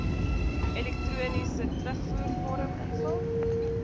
elektroniese terugvoervorm invul